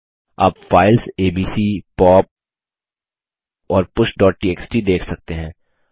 आप files ABC pop और pushटीएक्सटी देख सकते हैं